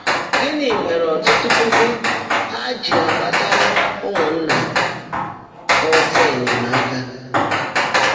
Gị́ní mèèré ọ́tụ́tụ́ púkú Há á jị́ gbàtáàrá ụ́mụ́nnaá há ọ́sọ́ ényèmáka?